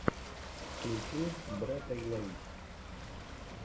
включи брэтэйлэй